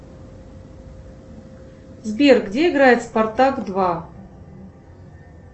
сбер где играет спартак два